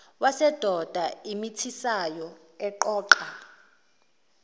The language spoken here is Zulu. wesidoda omithisayo oqoqa